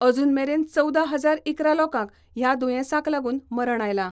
अजून मेरेन चवदा हजार इकरा लोकांक ह्या दुयेंसाक लागून मरण आयलां.